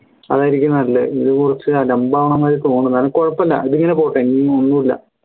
അതായിരിക്കും നല്ലത് ഇത് കുറച്ച് അലംമ്പവണ മാതിരി തോന്നുണു കാരണം കുഴപ്പല്ല ഇതിങ്ങനെ പോട്ടെ ഇനി ഒന്നുല്ല